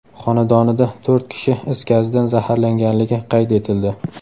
xonadonida to‘rt kishi is gazidan zaharlanganligi qayd etildi.